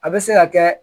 A bɛ se ka kɛ